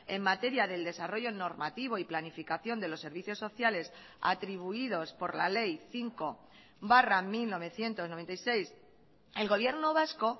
en materia del desarrollo normativo y planificación de los servicios sociales atribuidos por la ley cinco barra mil novecientos noventa y seis el gobierno vasco